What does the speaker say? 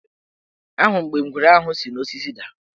Ahụrụ m mgbe ngwere ahụ si n' osisi daa.